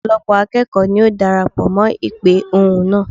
Ọ̀pọ̀lọ́pọ̀ akẹ́kọ̀ọ́ ní ó darapọ̀ mọ́ ìpè ohùn náà.